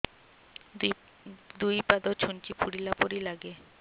ଦୁଇ ପାଦ ଛୁଞ୍ଚି ଫୁଡିଲା ପରି ଲାଗେ